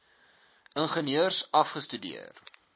ingenieurs a afgestudeer